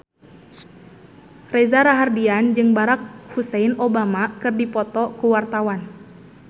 Reza Rahardian jeung Barack Hussein Obama keur dipoto ku wartawan